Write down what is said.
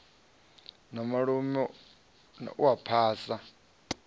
na malume u a phasa